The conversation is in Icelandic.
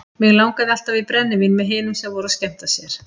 Mig langaði alltaf í brennivín með hinum sem voru að skemmta sér.